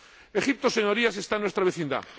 Egipto, Señorías, está en nuestra vecindad.